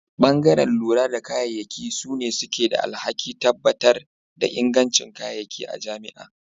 Bangare lura da kayayyaki sune suke da alhaki tabbatar da inganci kayayyaki a jami'a.